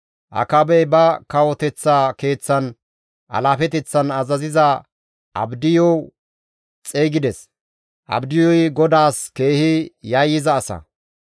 Akaabey ba kawoteththa keeththan alaafeteththan azaziza Abdiyu xeygides. Abdiyuy GODAAS keehi yayyiza asa.